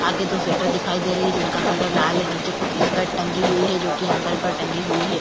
आगे दो स्वेटर दिखाई दे रहे है। जिनका कलर लाल है। नीचे कुछ स्कर्ट टंगी हुई है जोकि एंगेल पर टंगी हुई है।